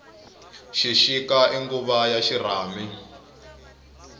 xixika i nguvu ya xirhami